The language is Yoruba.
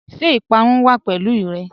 Ṣẹ ipàrún wà pẹ̀lú rẹ?